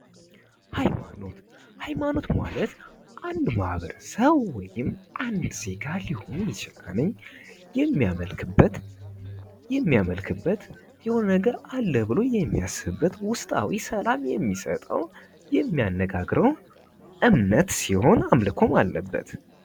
ሃይማኖት ሃይማኖት ማለት አንድ ማህበረሰብ ወይም አንድ ዜጋ ሊሆን ይችላል የሚያመልክበት የሆነ ነገር አለ ብሎ የሚያስብበት ውስጣዊ ሰላም የሚሰጠው የሚያነጋግረው እምነት ሲሆን አምልኮም አለበት።